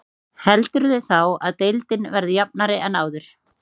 Heldurðu þá að deildin verði jafnari en áður?